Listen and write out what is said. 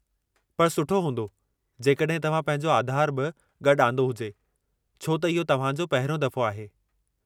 पर सुठो हूंदो जेकॾहिं तव्हां पंहिंजो आधार बि गॾु आंदो हुजे, छो त इहो तव्हां जो पहिरियों दफ़ो आहे।